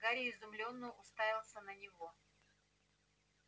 гарри изумлённо уставился на него